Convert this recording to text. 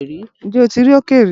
Ǹjẹ́ o ti rí òkè rí?